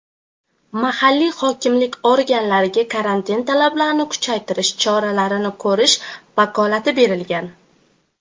mahalliy hokimlik organlariga karantin talablarini kuchaytirish choralarini ko‘rish vakolati berilgan.